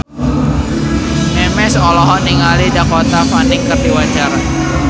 Memes olohok ningali Dakota Fanning keur diwawancara